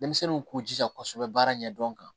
Denmisɛnninw k'u jija kosɛbɛ baara ɲɛdɔn kan